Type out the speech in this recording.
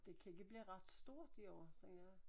Det kan ikke blive ret stort i år tænker jeg